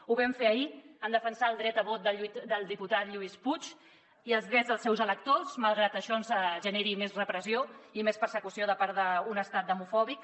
ho vam fer ahir en defensar el dret a vot del diputat lluís puig i els drets dels seus electors malgrat que això ens generi més repressió i més persecució de part d’un estat demofòbic